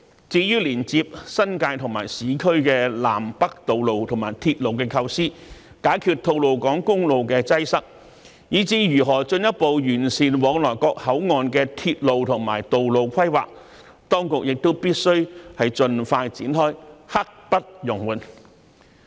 至於連接新界和市區的南北道路和鐵路構思、解決吐露港公路的擠塞，以至如何進一步完善往來各口岸的鐵路和道路規劃，當局亦必須盡快展開，刻不容緩。